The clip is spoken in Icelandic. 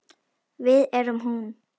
Við erum hún.